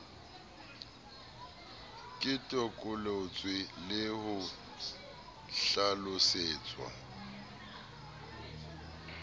ke toloketswe le ho hlalosetswa